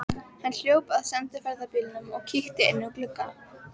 Hann hljóp að sendiferðabílnum og kíkti inn um glugga.